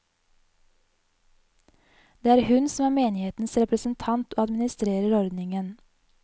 Det er hun som er menighetens representant og administrerer ordningen.